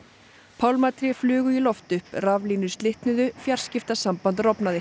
pálmatré flugu í loft upp raflínur slitnuðu fjarskiptasamband rofnaði